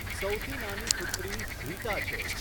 સૌથી નાની પુત્રી રીટા છે.